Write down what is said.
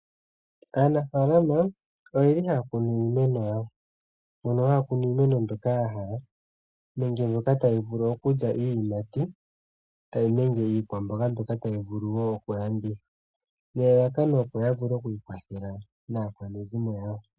Aanafalama ohaya kunu iimeno yawo mono haya kuno iimeno mbyoka ya hala nenge mbyoka taya vulu okulya iiyimati nenge iikwamboga mbyoka tyi vulu okulandithwa nelalakano opo ya vule okwiikwathela naakwanezimo yawo.